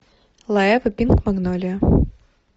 лоеве пинк магнолия